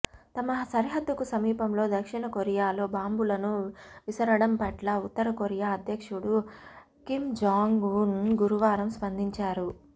తమ సరిహద్దుకు సమీపంలో దక్షిణకొరియాలో బాంబులను విసరడం పట్ల ఉత్తరకొరియా అధ్యక్షుడు కిమ్ జాంగ్ ఉన్ గురువారం స్పందించారు